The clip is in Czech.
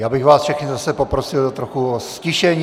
Já bych vás všechny zase poprosil trochu o ztišení.